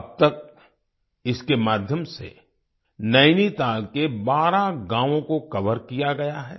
अब तक इसके माध्यम से नैनीताल के 12 गाँवों को कोवर किया गया है